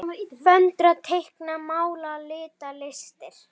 Föndra- teikna- mála- lita- listir